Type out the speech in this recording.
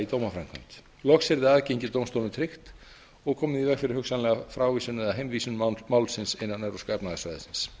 dómaframkvæmd loks yrði aðgengi að dómstólum tryggt og komið í veg fyrir hugsanlega frávísun eða heimvísun málsins innan evrópska efnahagssvæðisins